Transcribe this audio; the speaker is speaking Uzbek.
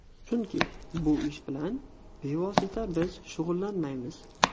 Chunki bu ish bilan bevosita biz shug‘ullanmaymiz.